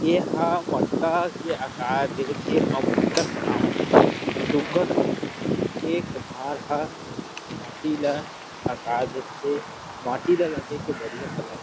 ए हा मटका के आकार दे थे अउ मटका बनावत हे सुघ्घर एक कुम्हार ह माटी ला आकर देथे माटी ल रंगे के बढ़िया कला हे ।